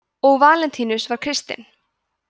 og valentínus var kristinn